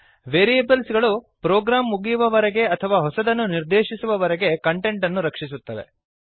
variables ಗಳು program ಮುಗಿಯುವವರೆಗೆ ಅಥವಾ ಹೊಸದನ್ನು ನಿರ್ದೇಶಿಸುವವರೆಗೆ ಕಂಟೆಂಟ್ ಅನ್ನು ರಕ್ಷಿಸುತ್ತವೆ